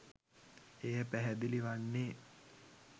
එය පැහැදිලිවන්නේ